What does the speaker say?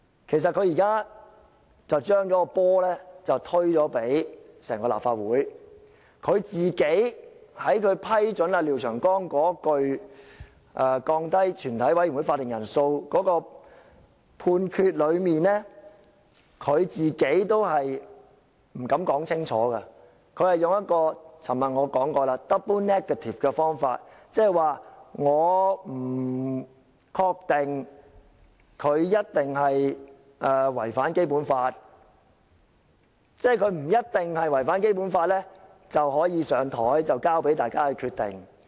其實，他現在是把責任推給整個立法會，他在批准廖長江議員降低全體委員會法定人數的建議的判決中也不敢說清楚，我昨天已指出，他是以一個 double negative 來表達，換言之，他不確定他一定違反《基本法》，即是他不一定違反《基本法》便可以提出，交由大家決定。